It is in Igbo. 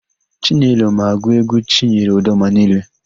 Chinelo ma agụ égwú Chinyere Udoma niile.